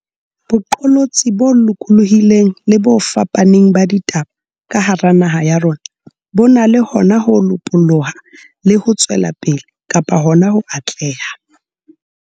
boqolotsi bo lokolohileng le bo fapaneng ba ditaba ka hara naha ya rona bo na le hona ho lopoloha le ho tswela pele kapa hona ho atleha.